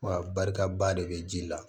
Wa barika ba de bɛ ji la